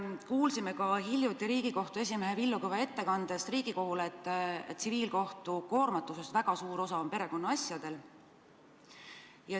Kuulsime hiljuti Riigikohtu esimehe Villu Kõve ettekandest Riigikogule, et tsiviilkohtu suurest koormatusest moodustavad väga suure osa perekonnaasjad.